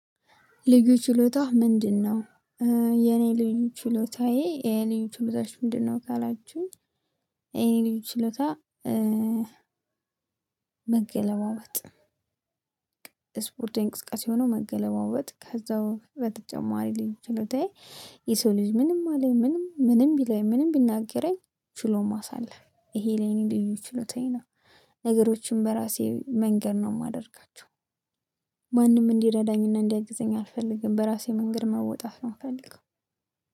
ልዩ ችሎታህ ምንድነው? የኔ ልዩ ችሎታዬ የኔ ችሎታሽ ምንድነው ካላችሁኝ የኔ ልዩ ችሎታ መገለባበጥ ስፖርታዊ የሆነው መገለባበጥ። ከዛ በተጨማሪ ሌሎችም ችሎታዬ የሰው ልጅ ምንም አለኝ ምንም ምንም ቢለኝ ምንም ቢናገረኝ ችሎ ማሳለፍ። ይሄ ለኔም ልዩ ችሎታዬ ነው። ነገሮችን በራሴ መንገድ ነው የማደርጋቸው። ማንም እንዲረዳኝ እና እንዲያግዘኝ አልፈልግም በራሴ መንገድ መወጣት ነው የምፈልገው።